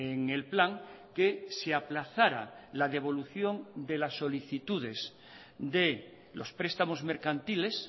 en el plan que se aplazara la devolución de las solicitudes de los prestamos mercantiles